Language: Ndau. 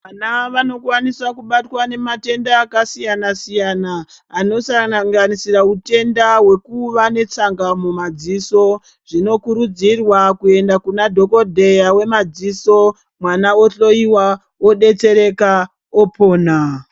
Vana vanokwanisa kubatwa nematenda akasiyana-siyana, anosanganisira utenda hwekuva netsanga mumadziso. Zvinokurudzirwa kuenda kunadhokodheya wemadziso, mwana ohloiwa, odetsereka, opona.